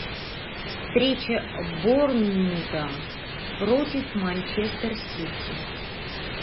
встреча борнмута против манчестер сити